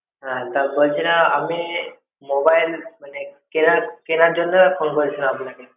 হ্যাঁ তা বলছিলাম আমি mobile মানে কেনার কেনার জন্যই phone করেছিলাম আপনাকে।